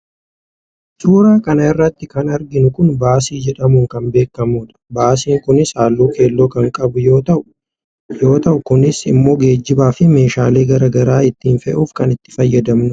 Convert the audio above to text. suuraa kana irratti kan arginu kun baasii jedhamuun kan beekamu dha. baasiin kunis halluu keello kan qabu yoo ta'u kunis immoo geejjibaa fi meeshaalee garagaraa ittiin fe'uuf kan itti fayyadamnu dha.